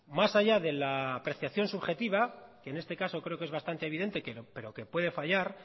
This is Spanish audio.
más allá de la apreciación subjetiva que en este caso creo que es bastante evidente pero que puede fallar